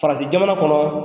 Farasi jamana kɔnɔ